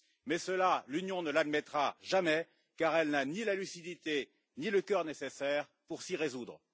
Mais cela, l'Union ne l'admettra jamais, car elle n'a ni la lucidité ni le cœur nécessaire pour s'y résoudre.